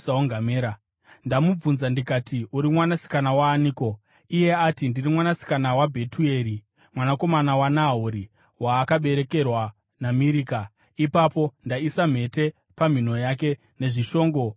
“Ndamubvunza ndikati, ‘Uri mwanasikana waaniko?’ “Iye ati, ‘Ndiri mwanasikana waBhetueri mwanakomana waNahori, waakaberekerwa naMirika.’ “Ipapo ndaisa mhete pamhino yake nezvishongo mumaoko ake,